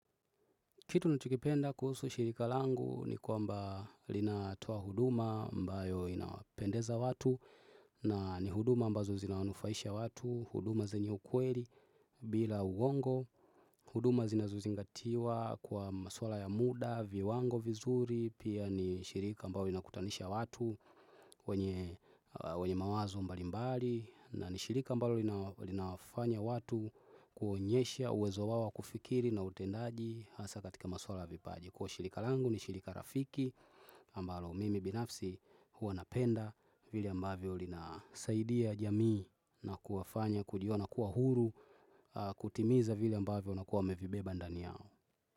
Kitu nachokipenda kuhusu shirika langu ni kwamba linatoa huduma ambayo inapendeza watu na ni huduma ambazo zinanufaisha watu, huduma zenye ukweli bila uongo, huduma zinazozingatiwa kwa maswala ya muda, viwango vizuri, pia ni shirika ambalo linakutanisha watu wenye wenye mawazo mbalimbali. Na ni shirika ambalo linawafanya watu kuonyesha uwezo wao wa kufikiri na utendaji hasa katika maswala vipaji. Kwa hiyo shirika langu ni shirika rafiki ambalo mimi binafsi huwa napenda vile ambavyo lina saidia jamii na kuwafanya kujiona kuwa huru kutimiza vile ambavyo wanakua wamevibeba ndani yao.